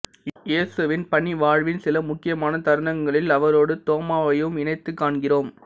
இயேசுவின் பணி வாழ்வின் சில முக்கியமான தருணங்களில் அவரோடு தோமாவையும் இணைத்து காண்கிறோம்